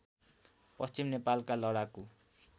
पश्चिम नेपालका लडाकु